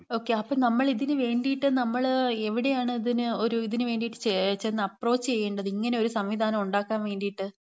Okay. അപ്പം നമ്മൾ ഇതിന് വേണ്ടീട്ട്, നമ്മള് എവിടെയാണ് ഇതിന് ഒരു ഇതിന് വേണ്ടിട്ട് ചെന്ന് അപ്രോച്ച് ചെയ്യേണ്ടത്? ഇങ്ങനെ ഒരു സംവിധാനം ഉണ്ടാക്കാൻ വേണ്ടീട്ട്.